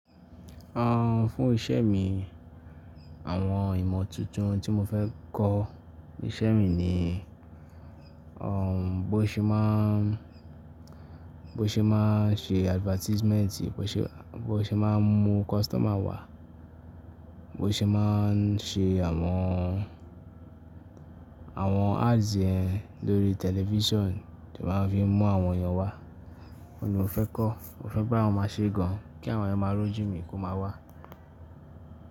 Àhn fún iṣẹ́ mi, àwọn ìmọ̀ tuntun tí mo fẹ́ kọ́ ní iṣẹ́ mi ni, bó ṣe máa, bó ṣe máa ṣe advertisement, bó ṣe, bó ṣe máa mú customer wá, bó ṣe máa ṣe àwọn, àwọn ads ẹ lórí television tí ó máa fi mú àwọn èèyàn wá. Ó ni mo fẹ́ kọ́, mo fẹ́ pé àwọn máa ṣe gan kí àwọn èèyàn máa rújú mi kí ó máa wá.